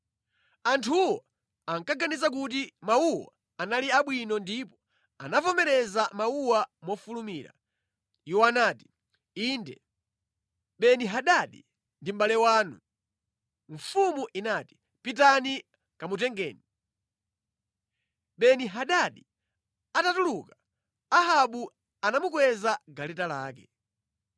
Anthuwo ankaganiza kuti mawuwo anali abwino ndipo anavomereza mawuwa mofulumira. Iwo anati, “Inde, Beni-Hadadi ndi mʼbale wanu!” Mfumu inati, “Pitani kamutengeni.” Beni-Hadadi atatuluka, Ahabu anamukweza mʼgaleta lake.